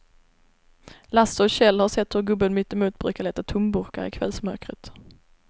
Lasse och Kjell har sett hur gubben mittemot brukar leta tomburkar i kvällsmörkret.